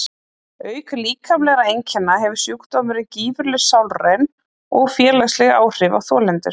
auk líkamlegra einkenna hefur sjúkdómurinn gífurleg sálræn og félagsleg áhrif á þolendur